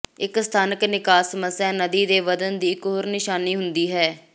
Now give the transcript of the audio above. ਇੱਕ ਸਥਾਨਕ ਨਿਕਾਸ ਸਮੱਸਿਆ ਨਦੀ ਦੇ ਵਧਣ ਦੀ ਇੱਕ ਹੋਰ ਨਿਸ਼ਾਨੀ ਹੁੰਦੀ ਹੈ